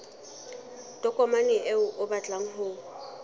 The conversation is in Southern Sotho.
tokomane eo o batlang ho